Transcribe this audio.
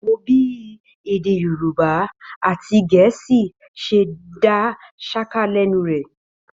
Wò ó bí èdè Yorùbá àti Gẹ̀ẹ́sì ṣe dá ṣáká lẹ́nu rẹ̀.